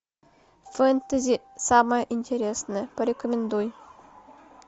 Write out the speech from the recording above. фэнтези самое интересное порекомендуй